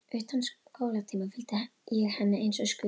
Utan skólatíma fylgdi ég henni eins og skugginn.